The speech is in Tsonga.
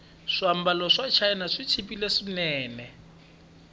swiambalo swachina swichipile swinene